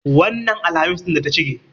Wannan Alhamis ɗin da ta shige.